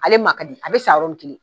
Ale man ka di a bi san yɔrɔni kelen